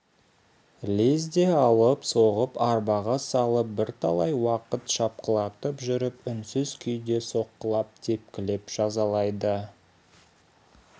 лезде алып соғып арбаға салып бірталай уақыт шапқылатып жүріп үнсіз күйде соққылап тепкілеп жазалайды